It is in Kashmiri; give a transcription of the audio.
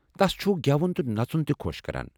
تس چھ گٮ۪وُن تہ نژُن تہِ خۄش کران۔